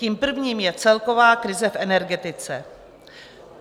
Tím prvním je celková krize v energetice.